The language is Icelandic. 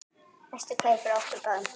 Bestu kveðjur frá okkur báðum.